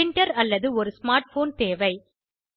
printer அல்லது ஒரு smart phone தேவை